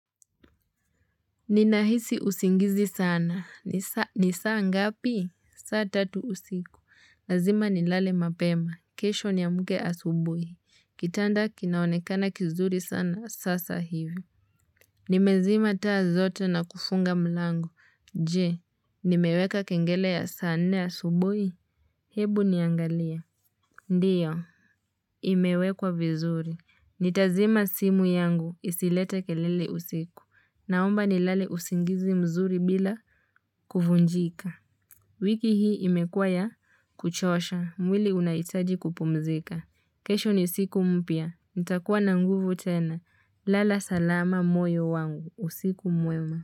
Nina hisi usingizi sana. Ni saa ngapi? Saa tatu usiku. Lazima nilale mapema. Kesho niamke asubuhi. Kitanda kinaonekana kizuri sana sasa hivi. Nimezima taa zote na kufunga mlango. Je, nimeweka kengelele ya saa nne asubui? Hebu niangalia. Ndiyo. Imewekwa vizuri. Nitazima simu yangu. Isilete kelele usiku. Naomba nilale usingizi mzuri bila kuvujika. Wiki hii imekua ya kuchosha. Mwili unahitaji kupumzika. Kesho ni siku mpya. Nitakuwa na nguvu tena. Lala salama moyo wangu. Usiku mwema.